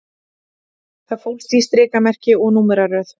Það fólst í strikamerki og númeraröð